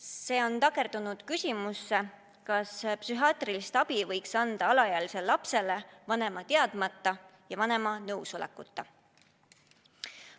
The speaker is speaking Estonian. See on takerdunud küsimusse, kas psühhiaatrilist abi võiks anda alaealisele lapsele vanema teadmata ja vanema nõusolekuta.